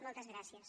moltes gràcies